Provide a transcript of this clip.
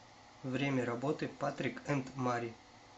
время работы патрик энд мари